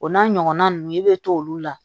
O n'a ɲɔgɔnna ninnu i bɛ t'olu la